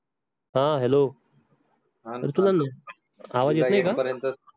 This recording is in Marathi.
हां hello अरे